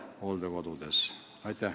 Aitäh!